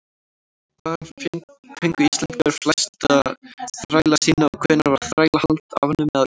hvaðan fengu íslendingar flesta þræla sína og hvenær var þrælahald afnumið á íslandi